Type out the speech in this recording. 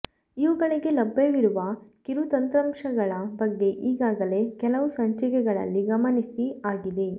ಇವುಗಳಿಗೆ ಲಭ್ಯವಿರುವ ಕಿರುತಂತ್ರಾಂಶಗಳ ಬಗ್ಗೆ ಈಗಾಗಲೆ ಕೆಲವು ಸಂಚಿಕೆಗಳಲ್ಲಿ ಗಮನಿಸಿ ಆಗಿದೆ